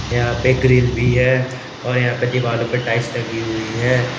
यहां पे ग्रिल भी है और यहां पर दीवारों पर टाइल्स लगी हुई है।